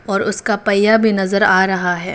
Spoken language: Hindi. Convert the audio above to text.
और उसका पहिया भी नजर आ रहा है।